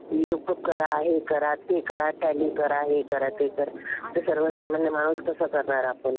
विलुकप करा. हे करा. ते करा. टॅली करा. हे करा. ते करा. तर सर्वसामान्य माणूस कसं करणार आपण?